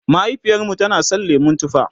mahaifiyarmu tana San lemun tufa